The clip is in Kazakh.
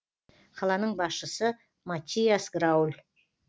қаланың басшысы маттиас грауль